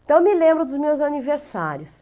Então eu me lembro dos meus aniversários.